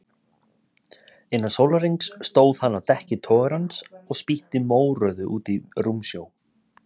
Innan sólarhrings stóð hann á dekki togarans og spýtti mórauðu út í rúmsjó.